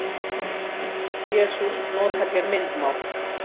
Jesús notar hér myndmál.